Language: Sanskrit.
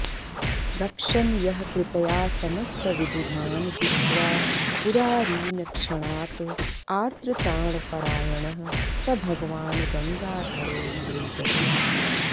रक्षन् यः कृपया समस्तविबुधान् जित्वा पुरारीन् क्षणात् आर्तत्राणपरायणः स भगवान् गङ्गाधरो मे गतिः